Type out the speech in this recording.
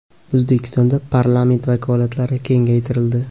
O‘zbekistonda parlament vakolatlari kengaytirildi.